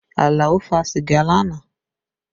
Alao fa sìgá lánàá